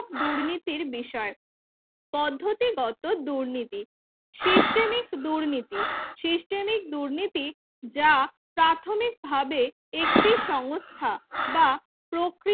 দুর্নীতির বিষয় পদ্ধতি সিস্টেমিক দুর্নীতি systemic দুর্নীতি যা প্রাথমিকভাবে একটি সংস্থা বা প্রকৃতি